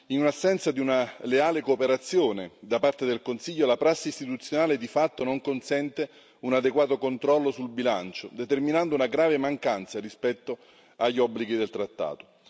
In assenza di una leale cooperazione da parte del Consiglio, la prassi istituzionale, di fatto, non consente un adeguato controllo sul bilancio, determinando una grave mancanza rispetto agli obblighi del trattato.